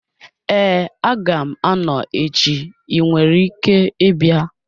Ee aga m-anọ echi, ị nwere ike ịbịa